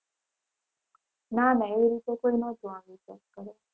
ના ના એવી રીતે કોઈ નહોતું આવી ને check કરે.